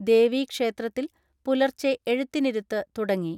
ദേവീക്ഷേത്രത്തിൽ പുലർച്ചെ എഴുത്തിനിരുത്ത് തുടങ്ങി.